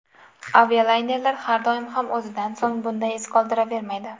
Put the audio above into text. Avialaynerlar har doim ham o‘zidan so‘ng bunday iz qoldiravermaydi.